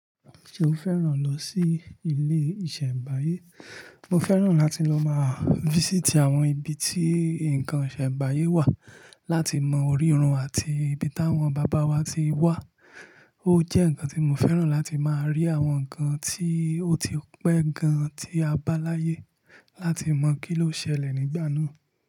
Ṣo fẹ́ràn lọ sí ilé ìṣẹ̀m̀báyé? Mo fẹ́ràn láti lọ máa visit àwọn ibi tí nǹkan ìṣẹ̀m̀báyé wà láti mọ orírun àti ibi táwọn bàbá wa ti wà. Ó jẹ́ nǹkan tí mo fẹ́ràn láti máa rí àwọn nǹkan tí ó ti pẹ́ gan tí a bá láyé láti mọ̀ kí ló ṣẹlẹ̀ nígbà náà.